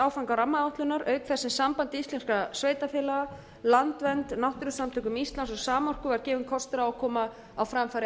áfanga rammaáætlunar auk þess sem samband íslenskra sveitarfélaga landvernd náttúrusamtökum íslands og samorku var gefinn kostur á að koma á framfæri